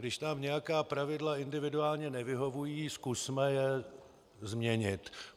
Když nám nějaká pravidla individuálně nevyhovují, zkusme je změnit.